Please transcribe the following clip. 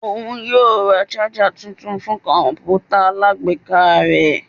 Oun yoo ra ṣaja tuntun fun kọǹpútà alágbèéká rẹ.